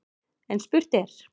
En spurt er: